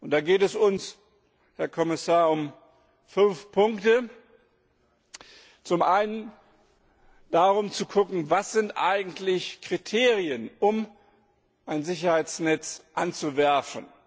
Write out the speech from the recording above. Da geht es uns, Herr Kommissar, um fünf Punkte Zum einen darum, zu schauen, was sind eigentlich die Kriterien, um ein Sicherheitsnetz auszuwerfen.